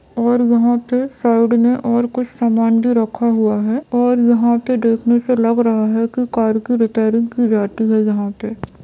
और यहाँ पे साइड में और कुछ समान भी रखा हुआ है और यहाँ पे देखने से लग रहा है कि कार की रेपैरींग की जाती है यहाँ पे।